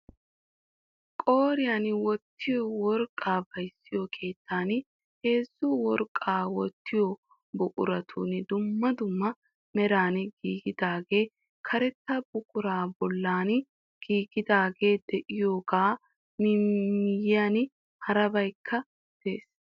Qooriyan wottiyo worqqaa bayzziyoo keettan heezzu worqqaa wottiyo buquratun dumma dumma meran giigidaagee karetta buquraa bollan giigidaagee de"iyaagaa miyiyan harabaykka de'ees.